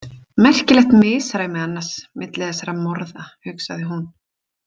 Merkilegt misræmi annars milli þessara morða, hugsaði hún.